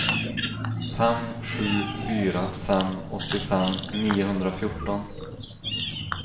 fem sju fyra fem åttiofem niohundrafjorton